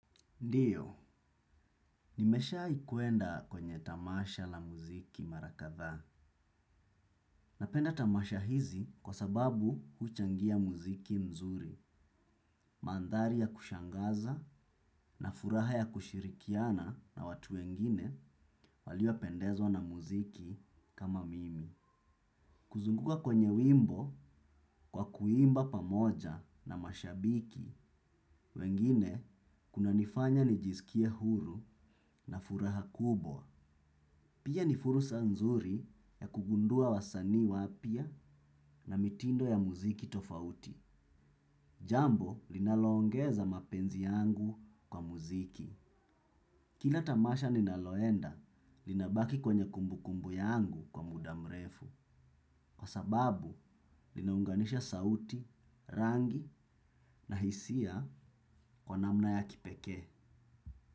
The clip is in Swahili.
Ndiyo, nimeshawahi kwenda kwenye tamasha la muziki mara kadhaa. Napenda tamasha hizi kwa sababu huchangia muziki mzuri, mandhari ya kushangaza na furaha ya kushirikiana na watu wengine waliopendezwa na muziki kama mimi. Kuzunguka kwenye wimbo kwa kuimba pamoja na mashabiki wengine kunanifanya nijisikie huru na furaha kubwa. Pia ni fursa nzuri ya kugundua wasanii wapya na mitindo ya muziki tofauti. Jambo linaloongeza mapenzi yangu kwa muziki. Kila tamasha ninaloenda linabaki kwenye kumbukumbu yangu kwa muda mrefu. Kwa sababu linaunganisha sauti, rangi na hisia kwa namna ya kipekee.